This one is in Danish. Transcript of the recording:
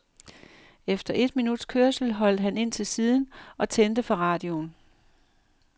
Efter et minuts kørsel holdt han ind til siden og tændte for radioen.